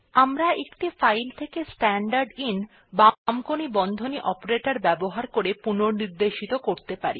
আমরা একটি ফাইল থেকে স্ট্যান্ডারদিন ltবামকোণী বন্ধনী অপারেটর ব্যবহার করে পুনঃনির্দেশিত করতে পারি